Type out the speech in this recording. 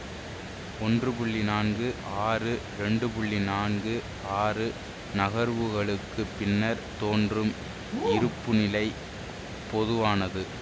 ஒன்று நான்கு ஆறு இரண்டு நான்கு ஆறு நகர்வுகளுக்குப் பின்னர் தோன்றும் இருப்புநிலை பொதுவானது